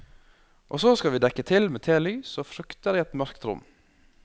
Og så skal vi dekke til med telys og frukter i et mørkt rom.